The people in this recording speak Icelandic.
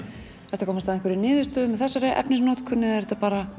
ertu að komast að einhverri niðurstöðu með þessari efnisnotkun eða er þetta bara